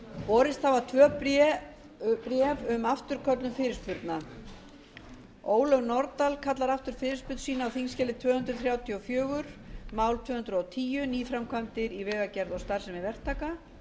borist hafa tvö bréf um afturköllun fyrirspurna ólöf nordal kallar aftur fyrirspurn sína á þingskjali tvö hundruð þrjátíu og fjögur mál tvö hundruð og tíu nýframkvæmdir í vegagerð og starfsemi verktaka